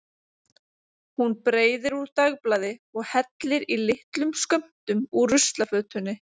Hún breiðir úr dagblaði og hellir í litlum skömmtum úr ruslafötunni.